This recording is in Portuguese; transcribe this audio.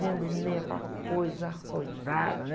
Vendo o Ney, aquela coisa arrojada, né?